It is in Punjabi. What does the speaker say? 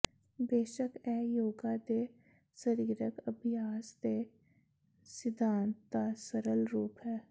ਬੇਸ਼ਕ ਇਹ ਯੋਗਾ ਦੇ ਸਰੀਰਕ ਅਭਿਆਸ ਦੇ ਸਿਧਾਂਤ ਦਾ ਸਰਲ ਰੂਪ ਹੈ